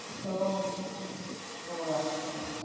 ওহ, ওহ আচ্ছা আচ্ছা।